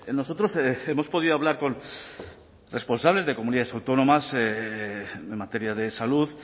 nosotros hemos podido hablar con responsables de comunidades autónomas en materia de salud